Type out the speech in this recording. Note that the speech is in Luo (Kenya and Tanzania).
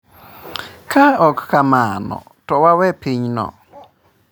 Ka ok kamano, to wawe pinyno.